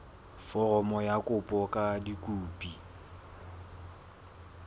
foromo ya kopo ka dikopi